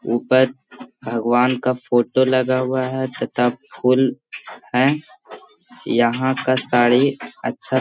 ऊपर भगवान का फोटो लगा हुआ है तथा फूल है यहाँ का ताड़ी अच्छा --